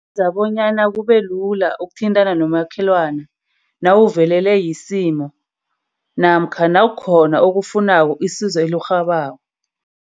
Yenza bonyana kubelula ukuthintana nomakhelwana nawuvelelwe yisimo namkha nawukhona okufunako, isizo elirhabako.